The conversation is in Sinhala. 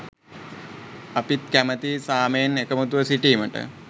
අපිත් කැමතියි සාමයෙන් එකමුතුව සිටීමට